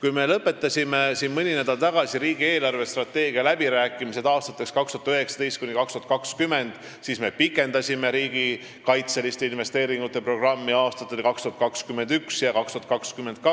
Kui me lõpetasime mõni nädal tagasi riigi eelarvestrateegia läbirääkimised aastateks 2019–2020, siis me pikendasime riigikaitseliste investeeringute programmi aastateks 2021 ja 2022,